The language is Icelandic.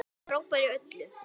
Frábær í öllu!